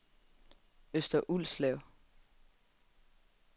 Øster Ulslev